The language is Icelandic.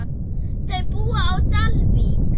Þau búa á Dalvík.